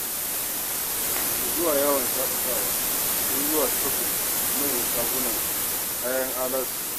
Daga zuwa yawon shaƙatawa, sai zuwa shopping a manya shaguna kayan alatu.